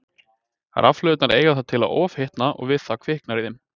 Rafhlöðurnar eiga það til að ofhitna og við það kviknar í þeim.